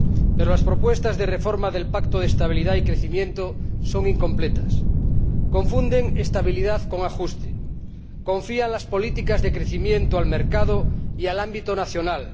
Pero las propuestas de reforma del Pacto de Estabilidad y Crecimiento son incompletas confunden estabilidad con ajuste, confían las políticas de crecimiento al mercado y al ámbito nacional.